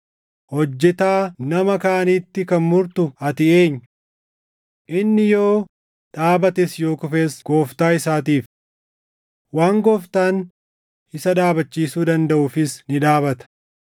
Hojjetaa nama kaaniitti kan murtu ati eenyu? Inni yoo dhaabates yoo kufes gooftaa isaatiif. Waan Gooftaan isa dhaabachiisuu dandaʼuufis ni dhaabata.